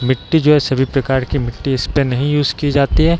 मिट्टी जो है सभी प्रकार की मिट्टी इसपे नहीं यूज़ की जाती है।